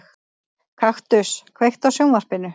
Kaktus, kveiktu á sjónvarpinu.